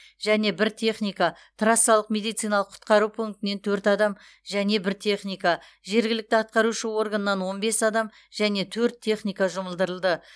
және бір техника трассалық медициналық құтқару пунктінен төрт адам және бір техника жергілікті атқарушы органнан он бес адам және төрт техника жұмылдырылды